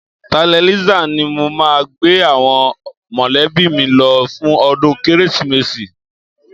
Tertanlizer ni mo máa gbé àwọn mọ̀lẹ́bí mi lọ fún ọdún Kérésìmesì